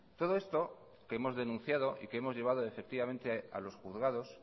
todo esto que hemos denunciado y que hemos llevado efectivamente a los juzgados